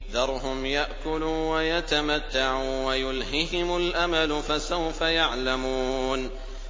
ذَرْهُمْ يَأْكُلُوا وَيَتَمَتَّعُوا وَيُلْهِهِمُ الْأَمَلُ ۖ فَسَوْفَ يَعْلَمُونَ